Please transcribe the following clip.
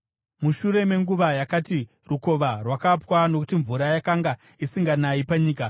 Mushure menguva yakati, rukova rwakapwa nokuti mvura yakanga isinganayi panyika.